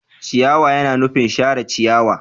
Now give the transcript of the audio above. Ciyawa yana nufin share ciyawa.